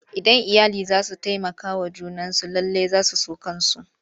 Idan iyali za su taimakawa junansu lallai za su so kansu.